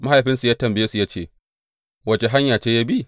Mahaifinsu ya tambaye su ya ce, Wace hanya ce ya bi?